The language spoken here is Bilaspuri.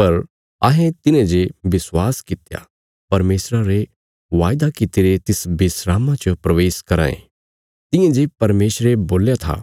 पर अहें तिन्हेंजे विश्वास कित्या परमेशरा रे वायदा कित्तिरे तिस विस्रामा च प्रवेश कराँ ये तियां जे परमेशरे बोल्या था